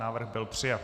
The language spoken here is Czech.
Návrh byl přijat.